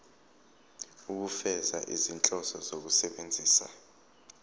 ukufeza izinhloso zokusebenzisa